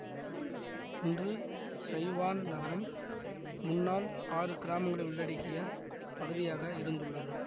இன்று Sai Wan நகரம் முன்னாள் ஆறு கிராமங்களை உள்ளடக்கிய பகுதியாக இருந்துள்ளது